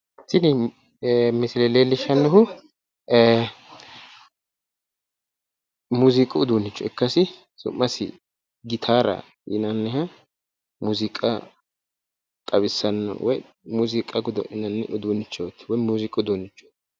Tini misile leellishshannohu ee muuziiqu uduunne leellishshannoha ikkasi su'masi gitaara yinanniha muziiqa xawissannoha woyi muuziiqu uduunnichooti.